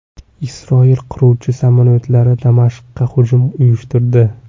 Isroil qiruvchi samolyotlari Damashqqa hujum uyushtirdi .